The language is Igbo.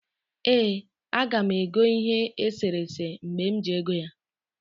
ee, aga m ego ihe eserese mgbe m ji ego ya